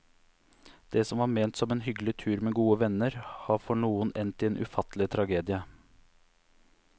Det som var ment som en hyggelig tur med gode venner, har for noen endt i en ufattelig tragedie.